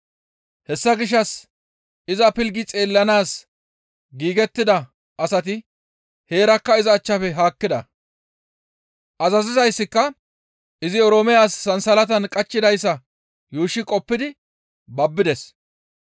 Hessa gishshas iza pilggi xeellanaas giigettida asati heerakka iza achchafe haakkida; azazizayssika izi Oroome as sansalatan qachchidayssa yuushshi qoppidi babbides.